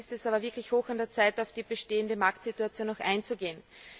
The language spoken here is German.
Jetzt ist es aber wirklich hoch an der Zeit, auf die bestehende Marktsituation auch einzugehen.